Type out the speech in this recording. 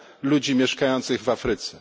ludzi mieszkających w Afryce.